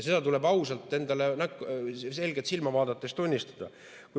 Seda tuleb endale ausalt tunnistada, selgelt silma vaadates.